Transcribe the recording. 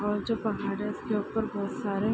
और जो पहाड़ है इसके ऊपर बहुत सारे --